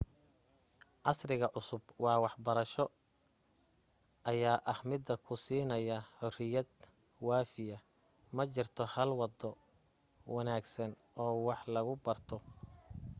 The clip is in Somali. casriga cusub ee wax barasho ayaa ah mid ku siinaya xuriyad waafiya ma jirto hal wado wanaagsan oo wax lagu barto